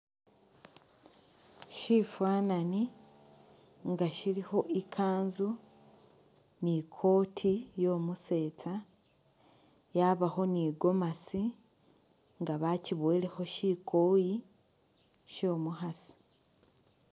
Shifanani nga shilikho ikanzu ni koti yo’musetsa yabakho ni gomasi nga bakyibowelekho shikoyi sho’mukhasi.